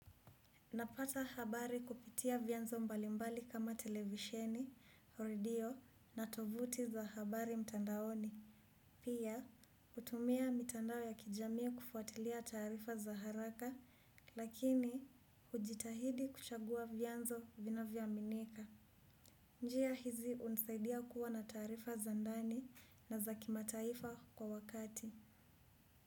Napata habari kupitia vyanzo mbalimbali kama televisheni, au redio na tuvuti za habari mtandaoni. Pia, utumia mitandao ya kijami kufuatilia taarifa za haraka lakini ujitahidi kuchagua vyanzo vinavyo aminika. Njia hizi unisaidia kuwa na tarifa za ndani na za kimataifa kwa wakati.